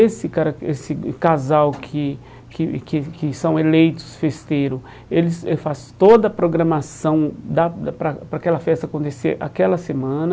Esse cara esse casal que que que que são eleitos festeiro, eles eles faz toda a programação da para para aquela festa acontecer aquela semana.